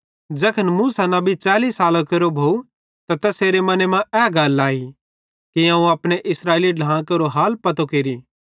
ज़ैखन मूसा नबी 40 सालां केरो भोव त तैसेरे मने मां ए गल आई कि अवं अपने इस्राएली ढ्लां केरो हाल पतो केरि